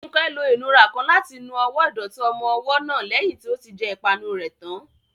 Funke lo ìnura kan láti nu ọwọ́ ìdọ̀tí ọmọ ọwọ́ náà lẹ́yìn tí ó ti jẹ ìpanu rẹ̀ tán.